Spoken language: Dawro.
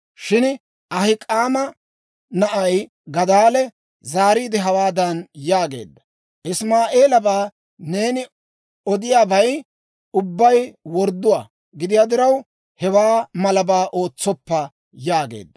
Shin Ahik'aama na'ay Gadaalee zaariide, hawaadan yaageedda; «Isima'eelabaa neeni odiyaabay ubbay wordduwaa gidiyaa diraw, hewaa malabaa ootsoppa» yaageedda.